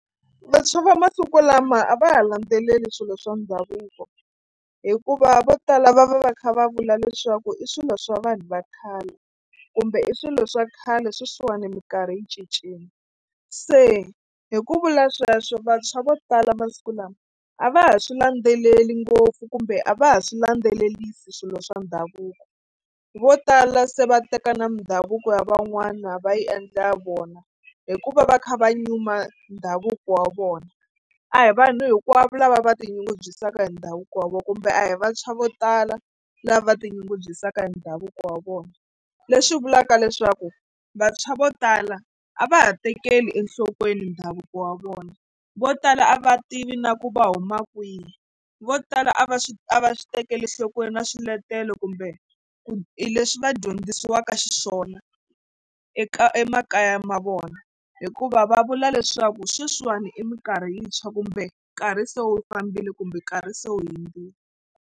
Vantshwa va masiku lama a va ha landzeleli swilo swa ndhavuko hikuva vo tala va va va kha va vula leswaku i swilo swa vanhu va khale kumbe i swilo swa khale sweswiwani mikarhi yi cincile se hi ku vula sweswo vantshwa vo tala masiku lama a va ha swi landzeleli ngopfu kumbe a va ha swi landzelerisi swilo swa ndhavuko vo tala se va teka na mindhavuko ya van'wana va yi endla vona hikuva va kha va nyuma ndhavuko wa vona. A hi vanhu hinkwavo lava va tinyungubyisaka hi ndhavuko wa vona kumbe a hi vantshwa vo tala lava tinyungubyisaka hi ndhavuko wa vona leswi vulaka leswaku vantshwa vo tala a va ha tekeli enhlokweni ndhavuko wa vona vo tala a va tivi na ku va huma kwihi vo tala a va swi a va swi tekeli enhlokweni na swiletelo kumbe ku i leswi va dyondzisiwaka xiswona eka emakaya ma vona hikuva va vula leswaku sweswiwani i mikarhi yintshwa kumbe nkarhi se wu fambile kumbe nkarhi se wu hundzile.